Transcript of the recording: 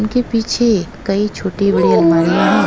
उनके पीछे कई छोटी बड़ी अलमारियां हैं।